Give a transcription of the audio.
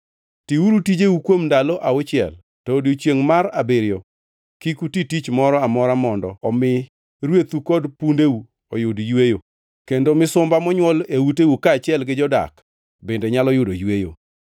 “Tiuru tijeu kuom ndalo auchiel, to e odiechiengʼ mar abiriyo kik uti tich moro amora mondo omi rwethu kod pundeu oyud yweyo kendo misumba monywol e uteu kaachiel gi jodak bende nyalo yudo yweyo.